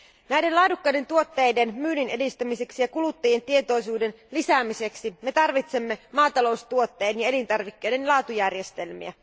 Näiden laadukkaiden tuotteiden myynninedistämiseksi ja kuluttajien tietoisuuden lisäämiseksi me tarvitsemme maataloustuotteiden ja elintarvikkeiden laatujärjestelmiä.